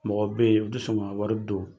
Mɔgɔ bɛ yen, o tɛ sɔn ka wari don